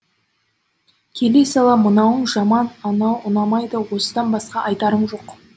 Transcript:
келе сала мынауың жаман анау ұнамайды осыдан басқа айтарың жоқ